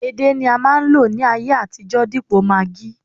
edé ni a ma nlo ní ayé àtijó dipo maggi